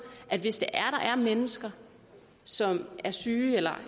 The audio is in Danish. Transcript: at hvis der er mennesker som er syge eller